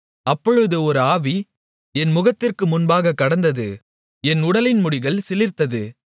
அப்பொழுது ஒரு ஆவி என் முகத்திற்கு முன்பாகக் கடந்தது என் உடலின் முடிகள் சிலிர்த்தது